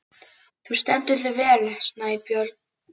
Þú stendur þig vel, Snæbjörn!